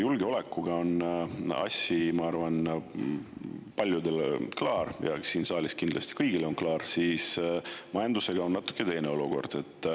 Julgeolekuga on asi, ma arvan, paljudele klaar, ja eks siin saalis on see kindlasti kõigile klaar, aga majandusega on natuke teine olukord.